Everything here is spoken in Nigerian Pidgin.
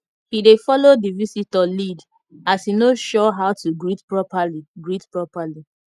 he dey follow the visitor lead as he no sure how to greet properly greet properly